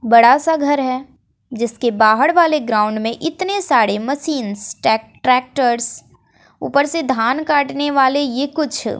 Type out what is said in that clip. बड़ा सा घर है जिसके बाहर वाले ग्राउंड में इतने सारे मशीनस ट्रैक्टर्स ऊपर से धान काटने वाले ये कुछ--